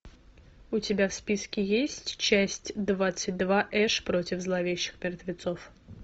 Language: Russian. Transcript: у тебя в списке есть часть двадцать два эш против зловещих мертвецов